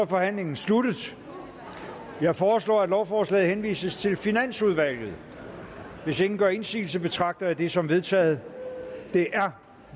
forhandlingen sluttet jeg foreslår at lovforslaget henvises til finansudvalget hvis ingen gør indsigelse betragter jeg det som vedtaget det er